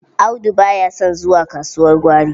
Audu ba ya son zuwa kasuwar gwari.